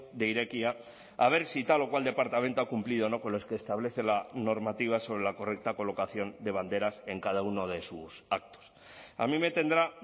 de irekia a ver si tal o cual departamento ha cumplido o no con los que establece la normativa sobre la correcta colocación de banderas en cada uno de sus actos a mí me tendrá